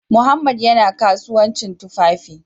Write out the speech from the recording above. Mohammed yana kasuwancin tufafi